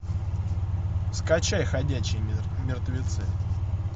скачай ходячие мертвецы